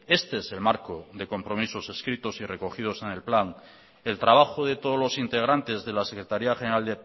este es el marco de compromisos escritos y recogidos en el plan el trabajo de todos los integrantes de la secretaria general